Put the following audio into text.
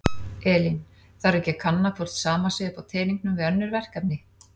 Elín: Þarf ekki að kanna hvort sama sé upp á teningnum við önnur verkefni?